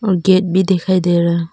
और गेट भी दिखाई दे रहा--